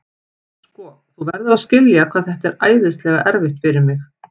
Sko, þú verður að skilja hvað þetta er æðislega erfitt fyrir mig.